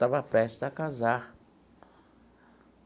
Estava prestes a casar.